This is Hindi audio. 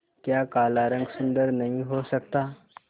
क्या काला रंग सुंदर नहीं हो सकता